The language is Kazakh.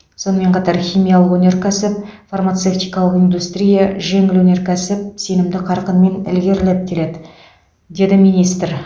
сонымен қатар химиялық өнеркәсіп фармацевтикалық индустрия жеңіл өнеркәсіп сенімді қарқынмен ілгерілеп келеді деді министр